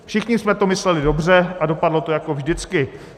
Všichni jsme to mysleli dobře a dopadlo to jako vždycky.